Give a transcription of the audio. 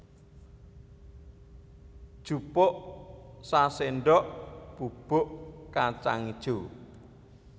Jupuk saséndok bubuk kacang ijo